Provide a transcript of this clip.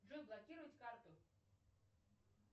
джой блокировать карту